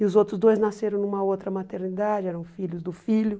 E os outros dois nasceram numa outra maternidade, eram filhos do filho.